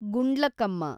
Gundlakamma